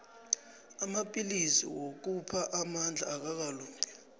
amapillisi wokupha amandla akakalungi